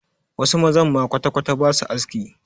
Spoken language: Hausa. Wasu mazan ma kwatakwata ba su aski.